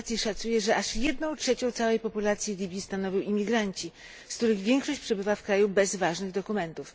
migracji szacuje, że aż jedną trzecią całej populacji Libii stanowią imigranci, z których większość przebywa w kraju bez ważnych dokumentów.